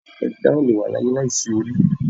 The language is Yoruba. Ẹ̀dá ò lè wà láyé láìsí orí